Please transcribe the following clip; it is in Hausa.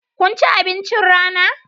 Kun ci abincin rana?